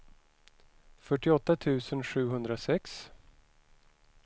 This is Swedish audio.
fyrtioåtta tusen sjuhundrasex